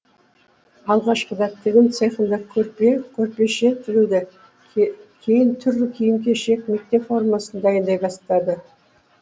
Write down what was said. алғашқыда тігін цехында көрпе көрпеше тігілді кейін түрлі киім кешек мектеп формасын дайындай бастады